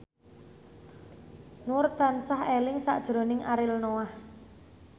Nur tansah eling sakjroning Ariel Noah